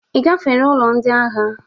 Ị gafere ule ndị agha?